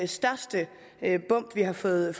største bump vi har fået